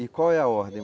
E qual é a ordem?